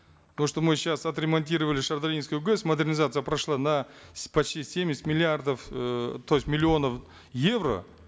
то что мы сейчас отремонтировали шардаринскую гэс модернизация прошла на почти семьдесят миллиардов эээ то есть миллионов евро